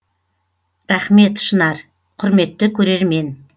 рақмет шынар құрметті көрермен